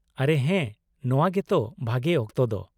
- ᱟᱨᱮ ᱦᱮᱸ, ᱱᱚᱶᱟ ᱜᱮ ᱛᱚ ᱵᱷᱟᱜᱮ ᱚᱠᱛᱚ ᱫᱚ ᱾